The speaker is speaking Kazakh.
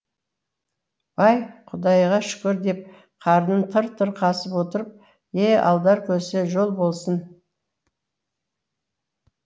бай құдайға шүкір деп қарнын тыр тыр қасып отырып е алдар көсе жол болсын